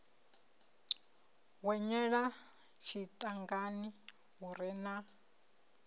hwenyela tshiṱangani hu re na